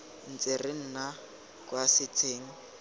ntse re nna kwa setsheng